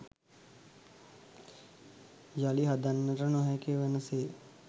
යළි හදන්නට නොහැකි වන සේ